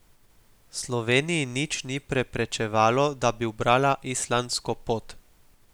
Sloveniji nič ni preprečevalo, da bi ubrala islandsko pot.